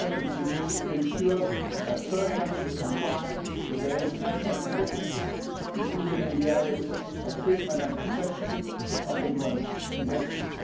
It means being sure that third countries comply with their international commitments, including in the areas of the treatment and protection of inward investments.